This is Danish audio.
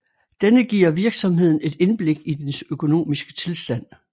Denne giver virksomheden et indblik i dens økonomiske tilstand